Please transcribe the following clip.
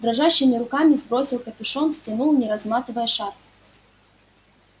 дрожащими руками сбросил капюшон стянул не разматывая шарф